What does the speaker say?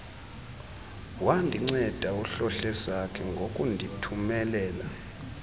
wandinceda uhlohlesakhe ngokundithumelela